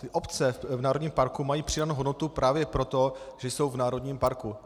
Ty obce v národním parku mají přidanou hodnotu právě proto, že jsou v národním parku.